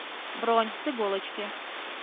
бронь с иголочки